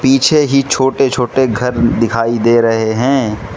पीछे ही छोटे छोटे घर दिखाई दे रहे हैं।